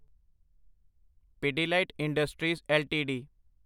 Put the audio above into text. Pidilite industries LTD